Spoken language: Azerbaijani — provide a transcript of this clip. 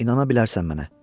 İnana bilərsən mənə.